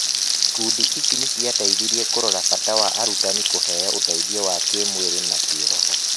Ikundi icio nĩ ciateithirie kũrora bata wa arutani kũheo ũteithio wa kĩĩmwĩrĩ na kĩroho.